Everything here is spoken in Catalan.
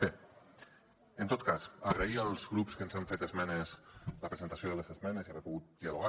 bé en tot cas agrair als grups que ens han fet esmenes la presentació de les esmenes i haver pogut dialogar